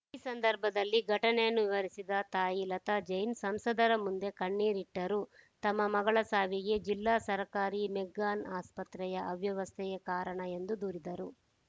ಈ ಸಂದರ್ಭದಲ್ಲಿ ಘಟನೆಯನ್ನು ವಿವರಿಸಿದ ತಾಯಿ ಲತಾ ಜೈನ್‌ ಸಂಸದರ ಮುಂದೆ ಕಣ್ಣೀರಿಟ್ಟರು ತಮ್ಮ ಮಗಳ ಸಾವಿಗೆ ಜಿಲ್ಲಾ ಸರ್ಕಾರಿ ಮೆಗ್ಗಾನ್‌ ಆಸ್ಪತ್ರೆಯ ಅವ್ಯವಸ್ಥೆಯೇ ಕಾರಣ ಎಂದು ದೂರಿದರು